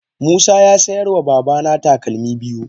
Musa ya sayar wa babana takalmi biyu.